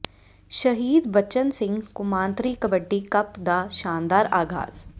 ਸ਼ਹੀਦ ਬਚਨ ਸਿੰਘ ਕੌਮਾਂਤਰੀ ਕਬੱਡੀ ਕੱਪ ਦਾ ਸ਼ਾਨਦਾਰ ਆਗ਼ਾਜ਼